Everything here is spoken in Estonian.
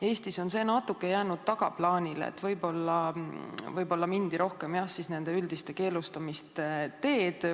Eestis on see natuke jäänud tagaplaanile, võib-olla mindi rohkem üldiste keelustamiste teed.